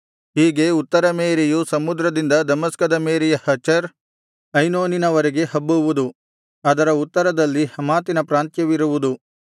ಹೀಗೆ ಉತ್ತರ ಮೇರೆಯು ಸಮುದ್ರದಿಂದ ದಮಸ್ಕದ ಮೇರೆಯ ಹಚರ್ ಐನೋನಿನವರೆಗೆ ಹಬ್ಬುವುದು ಅದರ ಉತ್ತರದಲ್ಲಿ ಹಮಾತಿನ ಪ್ರಾಂತ್ಯವಿರುವುದು